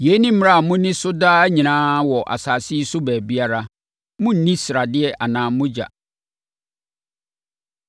“ ‘Yei ne mmara a monni so daa nyinaa wɔ asase yi so baabiara. Monnni sradeɛ anaa mogya.’ ”